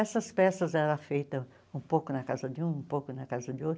Essas peças eram feitas um pouco na casa de um, um pouco na casa de outro.